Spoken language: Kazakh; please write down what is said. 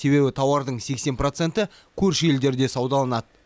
себебі тауардың сексен проценті көрші елдерде саудаланады